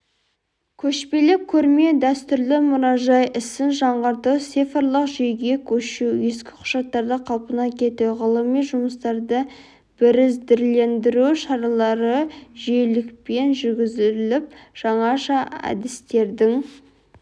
көшпелі көрме дәстүрлі мұражай ісін жаңғырту цифрлық жүйеге көшу ескі құжаттарды қалпына келтіру ғылыми жұмыстарды бірізділендіру шаралары жүйелілікпен жүргізіліп жаңаша әдістердің